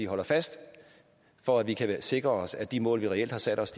holder fast for at vi kan sikre os at de mål vi reelt har sat os